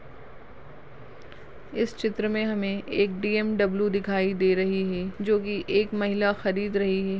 इस चित्र मे हमे एक बी एम डब्लू दिखाई दे रही है जोकी एक महिला खरीद रही है।